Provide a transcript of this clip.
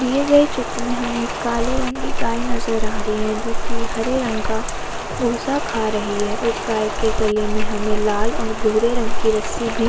दिए गए चित्र में हमें एक काले रंग की गाय नजर आ रही है जो की हरे रंग का भूंसा खा रही है। उस गाय के गले में हमें लाल और भूरे रंग की रस्सी भी --